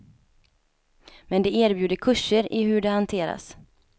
Men de erbjuder kurser i hur de hanteras.